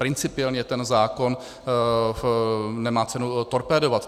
Principiálně ten zákon nemá cenu torpédovat.